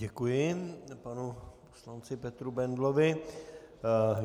Děkuji panu poslanci Petru Bendlovi.